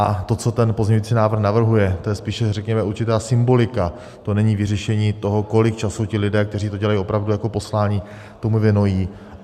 A to, co ten pozměňující návrh navrhuje, to je spíše řekněme určitá symbolika, to není vyřešení toho, kolik času ti lidé, kteří to dělají opravdu jako poslání, tomu věnují.